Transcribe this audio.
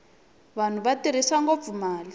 vanhu va tirhisa ngopfu mali